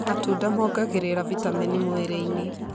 Matunda mongagĩrira vitamini mwĩrĩ-inĩ.